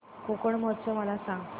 कोकण महोत्सव मला सांग